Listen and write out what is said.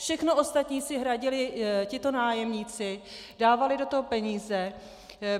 Všechno ostatní si hradili tito nájemníci, dávali do toho peníze.